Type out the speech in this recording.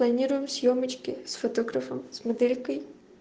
планируем съёмочки с фотографом с моделькой